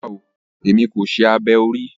Rara, èmi kò ṣe abẹ orí o